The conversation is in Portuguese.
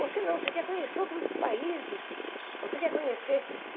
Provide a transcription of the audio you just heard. Você não, você quer conhecer outros países, você quer conhecer.